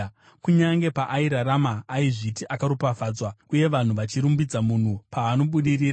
Kunyange paairarama aizviti akaropafadzwa, uye vanhu vachirumbidza munhu paanobudirira,